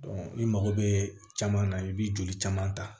i mago bɛ caman na i bɛ joli caman ta